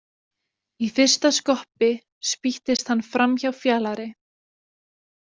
Í fyrsta skoppi spýttist hann framhjá Fjalari.